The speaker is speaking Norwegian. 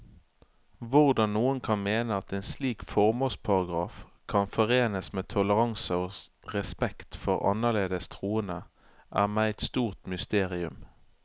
Hvordan noen kan mene at en slik formålsparagraf kan forenes med toleranse og respekt for annerledes troende, er meg et stort mysterium.